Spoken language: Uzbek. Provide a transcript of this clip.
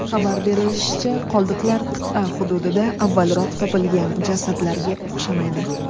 Xabar berilishicha, qoldiqlar qit’a hududida avvalroq topilgan jasadlarga o‘xshamaydi.